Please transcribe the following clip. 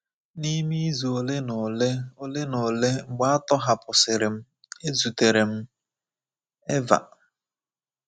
N’ime izu ole na ole ole na ole mgbe a tọhapụsịrị m, ezutere m Eva.